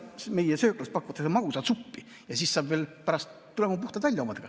Äkki meie sööklas pakutakse magusat suppi ja pärast tuleme veel puhtalt välja omadega.